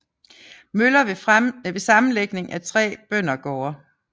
Møller ved sammenlægning af tre bøndergårde